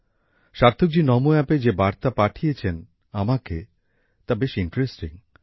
সার্থক জী নমো অ্যাপে যে বার্তা পাঠিয়েছেন আমাকে তা বেশ ইন্টারেস্টিং